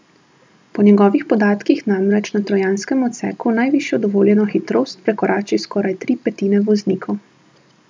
Po njegovih podatkih namreč na trojanskem odseku najvišjo dovoljeno hitrost prekorači skoraj tri petine voznikov.